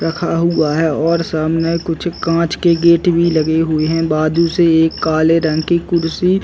रखा हुआ है और सामने कुछ कांच के गेट भी लखे हुएं हैं। बाजु से एक काले रंग की कुर्सी --